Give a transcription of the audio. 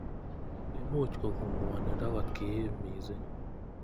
Imuch kokon ng'wonindo kotkiim missing.